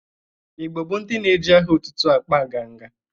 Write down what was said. Igbo bụ ndị na-eje aha otutu akpa nganga.